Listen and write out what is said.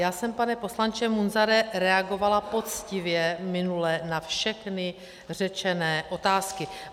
Já jsem, pane poslanče Munzare, reagovala poctivě minule na všechny řečené otázky.